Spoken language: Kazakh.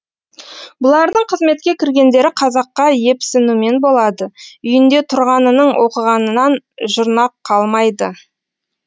бұлардың қызметке кіргендері қазаққа епсінумен болады үйінде тұрғанының оқығанынан жұрнақ қалмайды